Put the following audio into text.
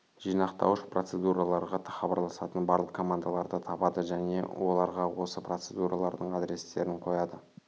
жинақтауыш процедураларға хабарласатын барлық командаларды табады және оларға осы процедуралардың адрестерін қояды